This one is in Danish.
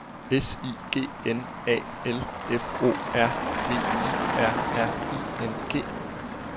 S I G N A L F O R V I R R I N G